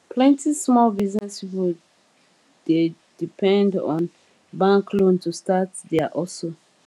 plenty small business people dey depend on bank loan to start their hustle